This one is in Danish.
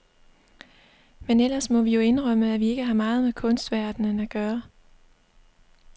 Men ellers må vi jo indrømme, at vi ikke har meget med kunstverdenen at gøre.